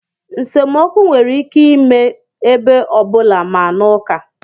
Nsemokwu nwere ike ime ebe ọ bụla, ma n'uka.